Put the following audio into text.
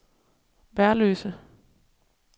Værløse